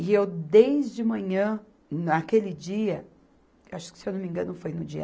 E eu, desde manhã, naquele dia, acho que, se eu não me engano, foi no dia